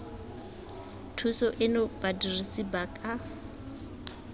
thuso eno badirisi ba ka